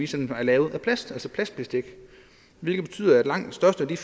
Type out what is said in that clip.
som er lavet af plast altså plastbestik hvilket betyder at langt størstedelen